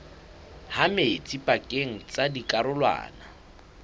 ha metsi pakeng tsa dikarolwana